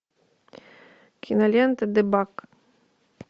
кинолента дебаг